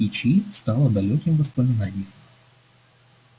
кичи стала далёким воспоминанием